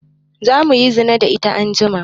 Za muyi zina da ita anjima